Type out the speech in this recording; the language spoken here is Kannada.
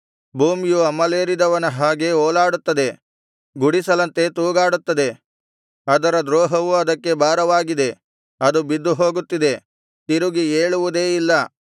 ಭೂಮಿಯು ಅಮಲೇರಿದವನ ಹಾಗೆ ಓಲಾಡುತ್ತದೆ ಗುಡಿಸಲಂತೆ ತೂಗಾಡುತ್ತದೆ ಅದರ ದ್ರೋಹವು ಅದಕ್ಕೆ ಭಾರವಾಗಿದೆ ಅದು ಬಿದ್ದು ಹೋಗುತ್ತಿದೆ ತಿರುಗಿ ಏಳುವುದೇ ಇಲ್ಲ